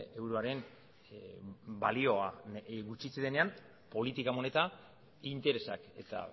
euroaren balioa gutxitzen denean politika moneta interesak eta